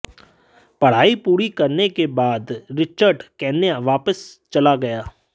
पढाई पूरी करने के बाद रिचर्ड केन्या वापस चला गया